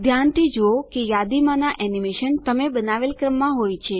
ધ્યાનથી જુઓ કે યાદીમાંના એનીમેશન તમે બનાવેલ ક્રમમાં હોય